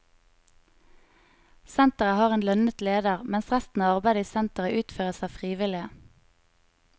Senteret har en lønnet leder, mens resten av arbeidet i senteret utføres av frivillige.